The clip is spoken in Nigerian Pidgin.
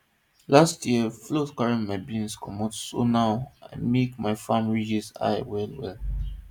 last year flood carry my beans comot so now i make my farm ridges high wellwell